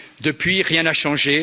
Depuis, rien n'a changé!